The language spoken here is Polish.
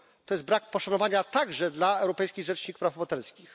To jest brak poszanowania także dla Europejskiej Rzecznik Praw Obywatelskich.